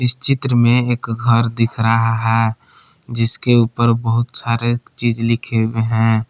चित्र में एक घर दिख रहा है जिसके ऊपर बहुत सारे चीज लिखे हुए हैं।